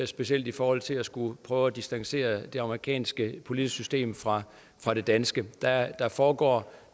specielt i forhold til at skulle prøve at distancere det amerikanske politiske system fra fra det danske der foregår